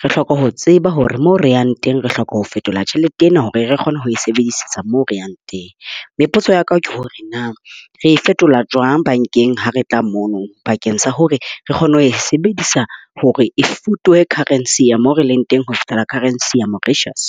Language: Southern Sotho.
re hloka ho tseba hore mo re yang teng, re hloka ho fetola tjhelete ena hore re kgone ho e sebedisetsa mo reyang teng. Mme potso ya ka ke hore na, re e fetola jwang bankeng ha re tla mono bankeng sa hore re kgone ho e sebedisa hore e fotole currency ya mo re leng teng ho fihlela currency ya Mauritius?